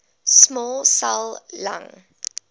small cell lung